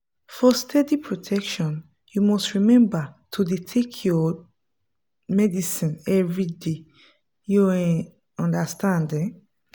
for steady protection you must remember to dey take your tablet everyday. you um understand um